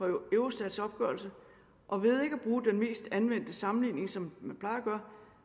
eurostats opgørelse og ved ikke at bruge den mest anvendte sammenligning som man plejer